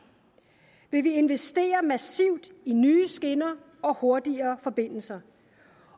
det vi investere massivt i nye skinner og hurtigere forbindelser